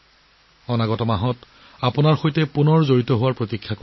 অহা মাহত আপোনালোকক পুনৰ লগপোৱাৰ আশা কৰিলোঁ